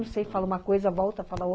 Não sei, fala uma coisa, volta, fala ou